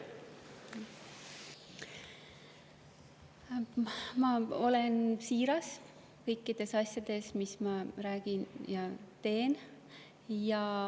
Ma olen siiras kõikides asjades, mis ma räägin ja teen.